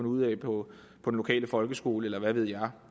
ud af på den lokale folkeskole eller hvad ved jeg